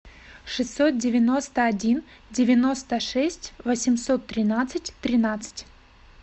шестьсот девяносто один девяносто шесть восемьсот тринадцать тринадцать